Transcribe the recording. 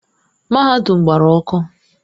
Mahadum gbara ọkụ.